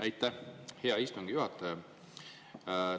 Aitäh, hea istungi juhataja!